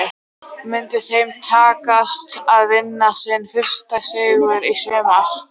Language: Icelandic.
Myndi þeim takast að vinna sinn fyrsta sigur í sumar?